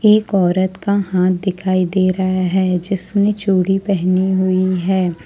एक औरत का हाथ दिखाई दे रहा है जिसने चूड़ी पहनी हुई है।